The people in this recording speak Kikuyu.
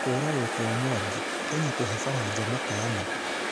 Kũragwo kwa Mwangi: Kenya kũve Faranja mũkaana